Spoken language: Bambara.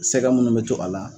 Sɛgɛ minnu bɛ to a la